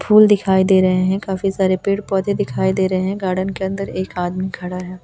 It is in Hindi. फूल दिखाई दे रहे हैं काफी सारे पेड़ पौधे दिखाई दे रहे हैं गार्डन के अंदर एक आदमी खड़ा है।